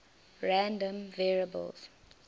random variables